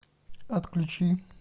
отключи